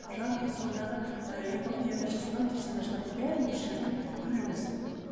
жалпы содағы эпопеяда жазылған персонаждардың бәрін осы жерден көреміз